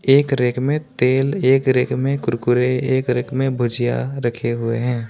एक रैक में तेल एक रैक में कुरकुरे एक रैक में भुजिया रखे हुए हैं।